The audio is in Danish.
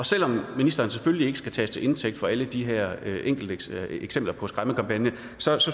selv om ministeren selvfølgelig ikke skal tages til indtægt for alle de her enkelte eksempler på skræmmekampagner